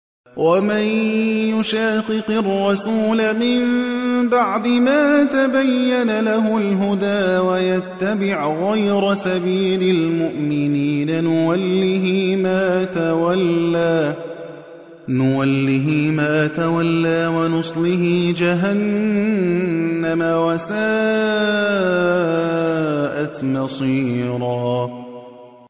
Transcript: وَمَن يُشَاقِقِ الرَّسُولَ مِن بَعْدِ مَا تَبَيَّنَ لَهُ الْهُدَىٰ وَيَتَّبِعْ غَيْرَ سَبِيلِ الْمُؤْمِنِينَ نُوَلِّهِ مَا تَوَلَّىٰ وَنُصْلِهِ جَهَنَّمَ ۖ وَسَاءَتْ مَصِيرًا